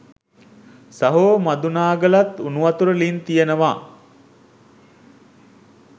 සහෝ මදුනාගලත් උණුවතුර ළිං තියෙනවා